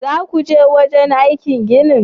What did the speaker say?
Zakuje wajenaikin ginin?